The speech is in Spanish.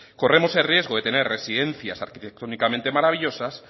corremos el riesgo de tener residencias arquitectónicamente maravillosas